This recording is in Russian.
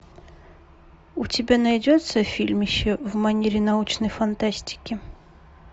у тебя найдется фильмище в манере научной фантастики